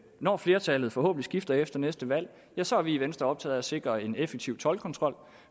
når flertallet forhåbentlig skifter efter næste valg så er vi i venstre optaget af at sikre en effektiv toldkontrol